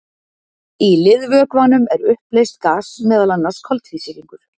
Í liðvökvanum er uppleyst gas, meðal annars koltvísýringur.